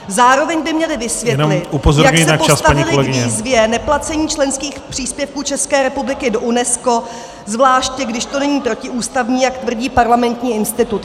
Zároveň by měli vysvětlit , jak se postavili k výzvě neplacení členských příspěvků České republiky do UNESCO, zvláště když to není protiústavní, jak tvrdí Parlamentní institut.